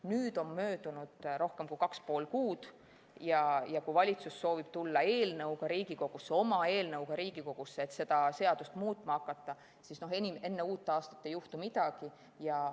Nüüd on möödunud rohkem kui kaks ja pool kuud ja kui valitsus soovib tulla eelnõuga Riigikogusse – oma eelnõuga –, et seda seadust muutma hakata, siis enne uut aastat ei juhtu midagi.